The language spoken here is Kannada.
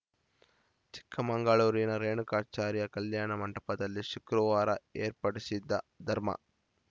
ಚಿಕ್ಕಮಗಳೂರಿನ ರೇಣುಕಾಚಾರ್ಯ ಕಲ್ಯಾಣ ಮಂಟಪದಲ್ಲಿ ಶುಕ್ರವಾರ ಏರ್ಪಡಿಸಿದ್ದ ಧರ್ಮ